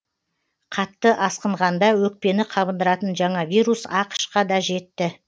қатты асқынғанда өкпені қабындыратын жаңа вирус ақш қа да жетті